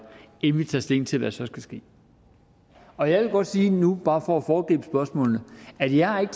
inden vi tager stilling til hvad der så skal ske og jeg vil godt sige nu bare for at foregribe spørgsmålene at jeg ikke